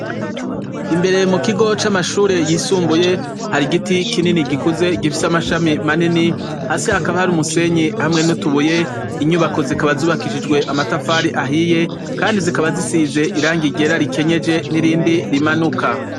Imbere mu kigo c' amashure yisumbuye, hari igiti kinini gikuze gifise amashami manini, hasi hakaba hari umusenyi hamwe n'utubuye, inyubako zikaba zubakishijwe amatafari ahiye, kandi zikaba zisize irangi ryera rikenyeje n' irindi rimanuka.